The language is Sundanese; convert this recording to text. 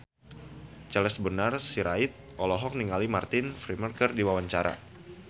Charles Bonar Sirait olohok ningali Martin Freeman keur diwawancara